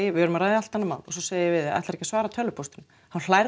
við erum að ræða allt annað mál og svo segi ég við þig Ætlaru ekki að svara tölvupóstinum þá